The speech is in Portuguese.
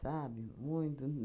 Sabe? Muito